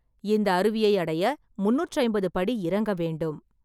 இந்த அருவியை அடைய முன்னூற்றி ஐம்பது படி இறங்க வேண்டும்.